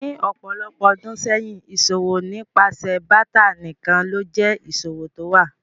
Ní ọpọ̀lọpọ̀ ọdún sẹyin, iṣọwọ̀ nípasẹ̀ báátà nikán ló jẹ iṣọwọ̀ tówa.